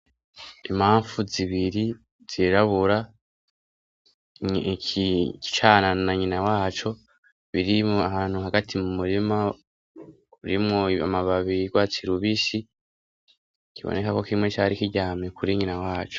Impamvu zibiri zirabura, icana na nyina waco birimwo ahantu hagati mu murima, urimwo amababi y'urwatsi rubisi, kiboneka ko kimwe cari kiryame kuri nyina waco.